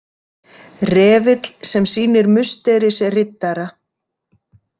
Refill sem sýnir Musterisriddara.